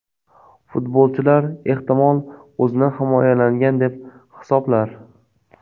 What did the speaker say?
Futbolchilar ehtimol, o‘zini himoyalangan deb hisoblar.